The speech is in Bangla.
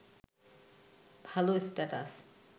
ভাল স্ট্যাটাস